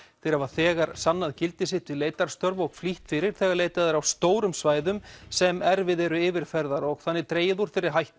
þeir hafa þegar sannað gildi sitt við leitarstörf og flýtt fyrir þegar leitað er á stórum svæðum sem erfið eru yfirferðar og þannig dregið úr þeirri hættu